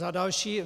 Za další.